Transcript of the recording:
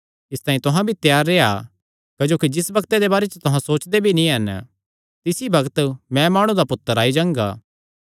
इसतांई तुहां भी त्यार रेह्आ क्जोकि जिस बग्त दे बारे च तुहां सोचदे भी नीं हन तिसी बग्त मैं माणु दा पुत्तर आई जांगा